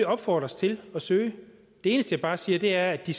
opfordres til at søge det eneste jeg bare siger er at de